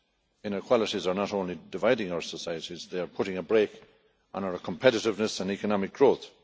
Inequalities are not only dividing our societies, they are putting a brake on our competitiveness and economic growth.